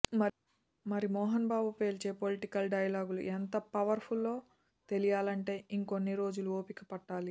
మరి మోహన్ బాబు పేల్చే పొలిటికల్ డైలాగులు ఎంత పవర్ ఫుల్లో తెలియాలంటే ఇంకొన్ని రోజులు ఓపిక పట్టాలి